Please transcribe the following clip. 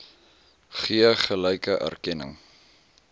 gee gelyke erkenning